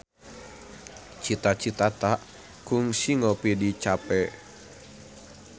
Cita Citata kungsi ngopi di cafe